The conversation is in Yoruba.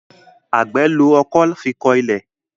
Àgbè ló ọkọ́ fí kò ilé.